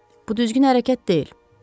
Bu düzgün hərəkət deyil.